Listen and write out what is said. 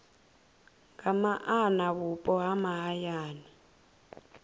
nga maana vhupo ha mahayani